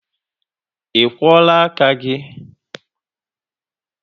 Ị kwọọla aka gị?